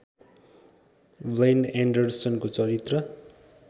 ब्लेन एन्डरसनको चरित्र